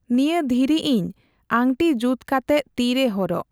ᱱᱤᱭᱟᱹ ᱫᱷᱤᱨᱤ ᱤᱧ ᱟᱹᱝᱴᱤ ᱡᱩᱛᱠᱟᱛᱮᱜ ᱛᱤᱨᱮ ᱦᱚᱨᱚᱜ ᱾